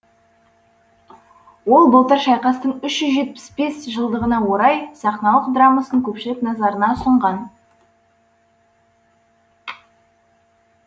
ол былтыр шайқастың үш жүз жетпіс бес жылдығына орай сахналық драмасын көпшілік назарына ұсынған